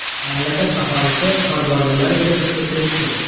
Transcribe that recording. Mamlakat aholisi qorbolalar yasashga kirishdi.